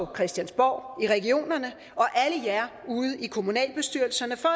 christiansborg i regionerne og alle jer ude i kommunalbestyrelserne for